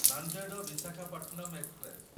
Nanded Visakhapatnam express